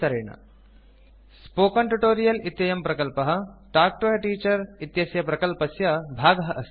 spoken Tutorialस्पोकन् tutorial इत्ययं प्रकल्पः तल्क् तो a Teacherटाक् टु ए टीचर् इत्यस्य प्रकल्पस्य भागः अस्ति